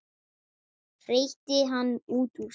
hreytti hann út úr sér.